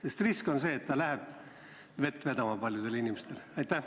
On ju risk, et see raha läheb paljudel inimestel vett vedama.